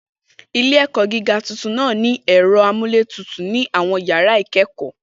Ilé-ẹ̀kọ́ gíga tuntun náà ní ẹ̀rọ amúlétutù nínú àwọn yàrá ìkẹ́kọ̀ọ́.